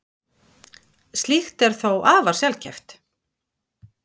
Slíkt er þó afar sjaldgæft.